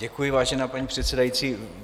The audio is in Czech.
Děkuji, vážená paní předsedající.